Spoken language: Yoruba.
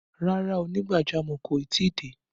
Rárá, onígbàjamọ̀ kò tí ì dé